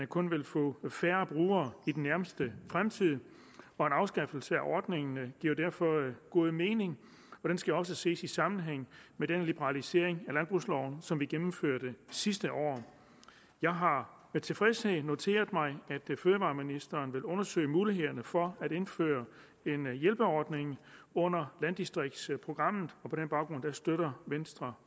kun vil få færre brugere i den nærmeste fremtid en afskaffelse af ordningen giver derfor god mening og det skal også ses i sammenhæng med den liberalisering af landbrugsloven som vi gennemførte sidste år jeg har med tilfredshed noteret mig at fødevareministeren vil undersøge mulighederne for at indføre en hjælpeordning under landdistriktsprogrammet og på den baggrund støtter venstre